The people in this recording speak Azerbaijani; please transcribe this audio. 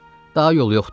Daha yolu yoxdur.